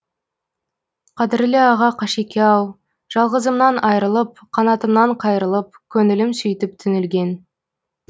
қадірлі аға қашеке ау жалғызымнан айрылып қанатымнан қайрылып көңілім сөйтіп түңілген